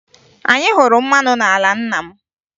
Anyị hụrụ mmanụ n'ala nna m